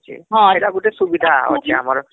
ହଁ ଏଟା ଗୁଟେ ସୁବିଧା ହଉଛି ଆମର